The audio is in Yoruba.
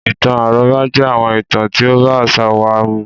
Ìtàn àrọ́bá jẹ́ àwọn ìtàn tí ó bá àṣà wa mu.